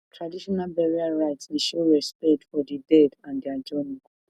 traditional burial rite dey show respect for di dead and their journey